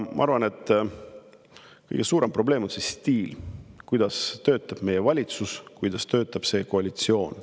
Ma arvan, et kõige suurem probleem on see stiil, kuidas töötab meie valitsus, kuidas töötab see koalitsioon.